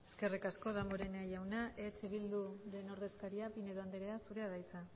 eskerrik asko danborenea jauna eh bilduren ordezkaria pinedo andrea zurea da hitza